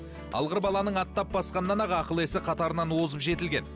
алғыр баланың аттап басқанынан ақ ақыл есі қатарынан озып жетілген